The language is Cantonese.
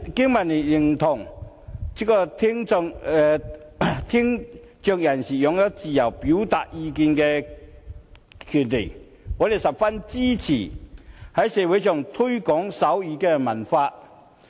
經民聯認同聽障人士擁有自由表達意見的權利，我們十分支持在社會上推廣手語文化。